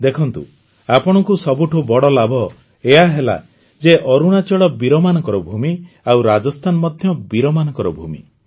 ଦେଖନ୍ତୁ ଆପଣଙ୍କୁ ସବୁଠୁ ବଡ଼ ଲାଭ ଏହା ହେଲା ଯେ ଅରୁଣାଚଳ ବୀରମାନଙ୍କ ଭୂମି ଆଉ ରାଜସ୍ଥାନ ମଧ୍ୟ ବୀରମାନଙ୍କ ଭୂମି